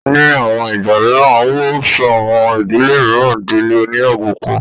Ní àwọn ìgbà mìíràn, owó ń sọ àwọn ìdílé mìíràn dí ilé oníyàwó púpọ̀